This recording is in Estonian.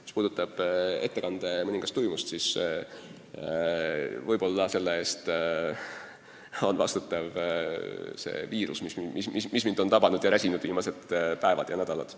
Mis puutub ettekande mõningasse tuimusse, siis võib-olla on selle eest vastutav ka see viirus, mis mind on tabanud ja räsinud viimased päevad ja nädalad.